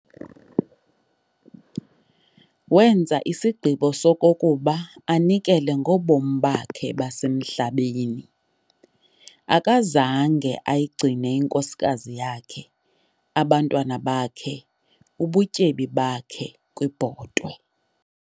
Wenza isigqibo sokokuba anikele ngobomi bakhe basemhlabeni. akazange ayigcine inkosikazi yakhe, abantwana bakhe, ubutyebi bakhe kwibhotwe.